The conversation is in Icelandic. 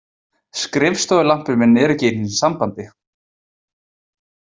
Skrifstofulampinn minn er ekki einu sinni í sambandi.